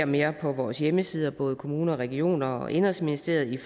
mere på vores hjemmeside både kommuner og regioner og indenrigsministeriet